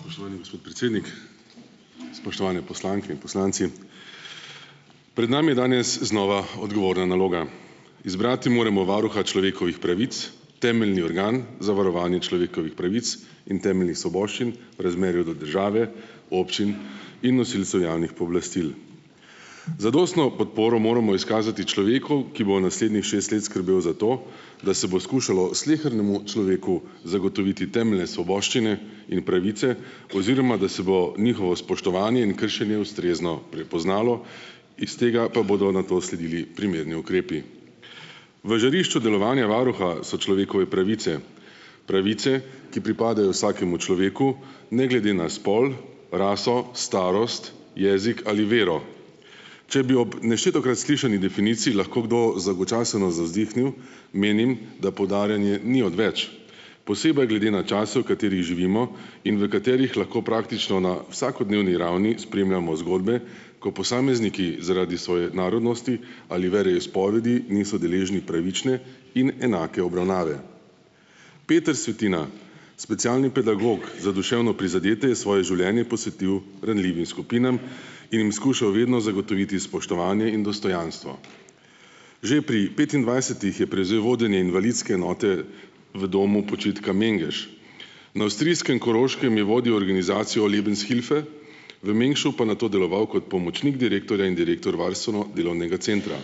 Spoštovani gospod predsednik, spoštovane poslanke in poslanci. Pred nami je danes znova odgovorna naloga, izbrati moramo varuha človekovih pravic, temeljni organ za varovanje človekovih pravic in temeljnih svoboščin v razmerju do države, občin, in nosilcev javnih pooblastil. Zadostno podporo moramo izkazati človeku, ki bo naslednjih šest let skrbel za to, da se bo skušalo slehernemu človeku zagotoviti temeljne svoboščine in pravice oziroma da se bo njihovo spoštovanje in kršenje ustrezno prepoznalo, iz tega pa bodo nato sledili primerni ukrepi. V žarišču delovanja varuha so človekove pravice pravice, ki pripadajo vsakemu človeku ne glede na spol raso, starost jezik ali vero. Če bi ob neštetokrat slišani definiciji lahko kdo zdolgočaseno zavzdihnil, menim, da poudarjanje ni odveč, posebej glede na čas, v katerem živimo in v katerih lahko praktično na vsakodnevni ravni spremljamo zgodbe, ko posamezniki zaradi svoje narodnosti ali veroizpovedi niso deležni pravične in enake obravnave. Peter Svetina, specialni pedagog za duševno prizadete, je svoje življenje posvetil ranljivim skupinam in jim skušal vedno zagotoviti spoštovanje in dostojanstvo, že pri petindvajsetih je prevzel vodenje invalidske enote v domu počitka Mengeš, na avstrijskem Koroškem je vodil organizacijo Lebenshilfe, v Mengšu pa nato deloval kot pomočnik direktorja in direktor varstveno-delovnega centra,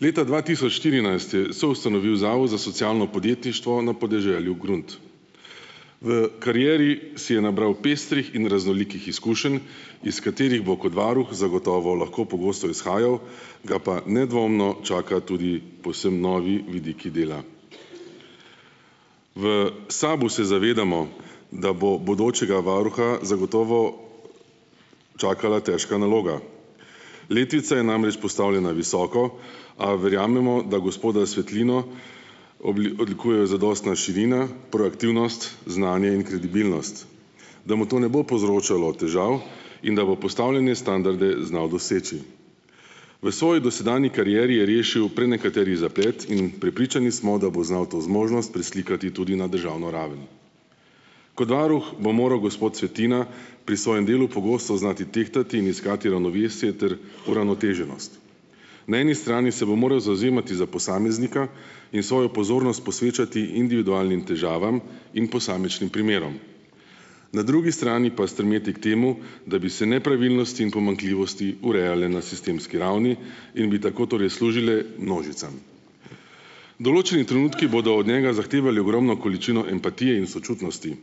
leta dva tisoč štirinajst je soustanovil zavod za socialno podjetništvo na podeželju Grunt. V karieri si je nabral pestrih in raznolikih izkušenj, iz katerih bo kot varuh zagotovo lahko pogosto izhajal, ga pa nedvomno čakajo tudi povsem novi vidiki dela. V SAB-u se zavedamo, da bo bodočega varuha zagotovo čakala težka naloga, letvica je namreč postavljena visoko, a verjamemo, da gospoda Svetino odlikujejo zadostna širina, proaktivnost, znanje in kredibilnost, da mu to ne bo povzročalo težav in da bo postavljene standarde znal doseči. V svoji dosedanji karieri je rešil prenekateri zaplet in prepričani smo, da bo znal to zmožnost preslikati tudi na državno raven. Kot varuh bo moral gospod Svetina pri svojem delu pogosto znati tehtati in iskati ravnovesje ter uravnoteženost, na eni strani se bo moral zavzemati za posameznika in svojo pozornost posvečati individualnim težavam in posamičnim primerom, na drugi strani pa stremeti k temu, da bi se nepravilnosti in pomanjkljivosti urejale na sistemski ravni in bi tako torej služile množicam. Določeni trenutki bodo od njega zahtevali ogromno količino empatije in sočutnosti,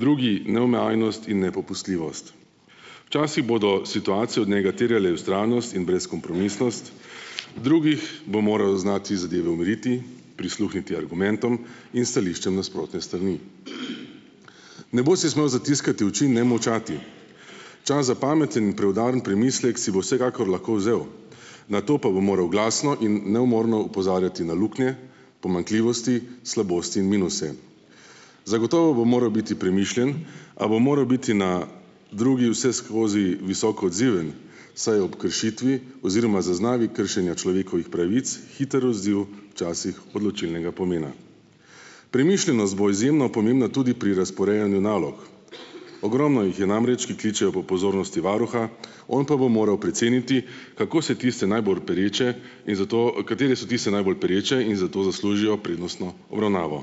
drugi neomajnost in nepopustljivost, včasih bodo situacije od njega terjale vztrajnost in brezkompromisnost, v drugih bo moral znati zadeve umiriti, prisluhniti argumentom in stališčem nasprotne strani. Ne bo si smel zatiskati oči in ne molčati, čas za pameten in preudaren premislek si bo vsekakor lahko vzel, nato pa bo moral glasno in neumorno opozarjati na luknje, pomanjkljivosti, slabosti in minuse, zagotovo bo moral biti premišljen, a bo moral biti na drugi vseskozi visoko odziven, saj ob kršitvi oziroma zaznavi kršenja človekovih pravic hiter odziv včasih odločilnega pomena. Premišljenost bo izjemno pomembna tudi pri razporejanju nalog, ogromno jih je namreč, ki kličejo po pozornosti varuha, on pa bo moral preceniti, kako se tiste najbolj pereče, in zato a katere so tiste najbolj pereče in zato zaslužijo prednostno obravnavo,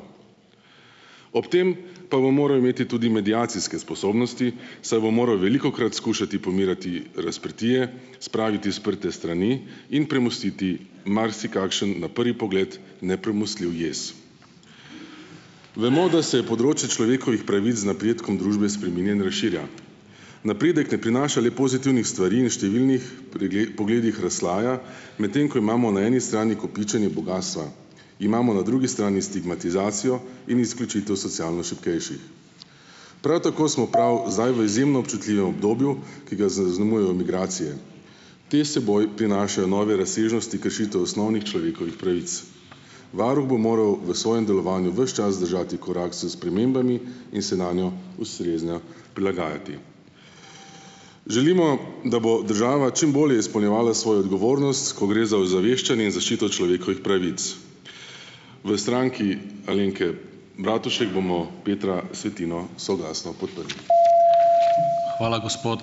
ob tem pa bo moral imeti tudi mediacijske sposobnosti, saj bo moral velikokrat skušati pomirjati razprtije, spraviti sprte strani in premostiti marsikakšen na prvi pogled nepremostljiv jez. Vemo, da se je področje človekovih pravic z napredkom družbe spreminja in razširja, napredek ne prinaša le pozitivnih stvari in številnih pogledih razslojuje, medtem ko imamo na eni strani kopičenje bogastva, imamo na drugi strani stigmatizacijo in izključitev socialno šibkejših, prav tako smo prav zdaj v izjemno občutljivem obdobju, ki ga zaznamujejo migracije, te seboj prinašajo nove razsežnosti kršitev osnovnih človekovih pravic. Varuh bo moral v svojem delovanju ves čas držati korak s spremembami in se nanje ustrezno prilagajati. Želimo, da bo država čim bolje izpolnjevala svojo odgovornost, ko gre za ozaveščanje in zaščito človekovih pravic. V Stranki Alenke Bratušek bomo Petra Svetino soglasno podprli. Hvala, gospod ...